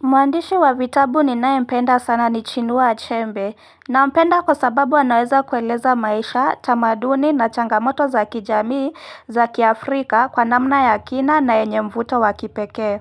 Mwandishi wa vitabu ni naye mpenda sana ni chinua achembe, na mpenda kwa sababu anaweza kueleza maisha, tamaduni na changamoto za kijamii za kiafrika kwa namna ya kina na enye mvuto wakipekee.